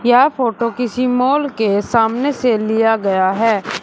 यह फोटो किसी मॉल के सामने से लिया गया है।